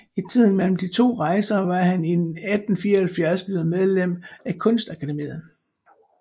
I tiden mellem de to rejser var han i 1874 blevei medlem af Kunstakademiet